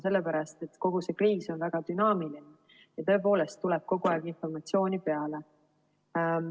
Sellepärast, et kogu see kriis on väga dünaamiline ja kogu aeg tuleb informatsiooni peale.